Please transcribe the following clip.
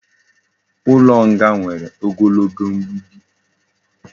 Ulo nga nwere ogologo mgbidi